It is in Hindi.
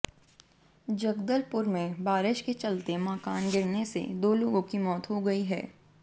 जगदलपुर में बारिश के चलते मकान गिरने से दो लोगों की मौत हो गई है